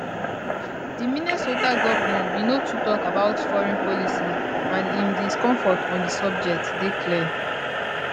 di minnesota govnor bin no too tok about foreign policy and im discomfort on di subject dey clear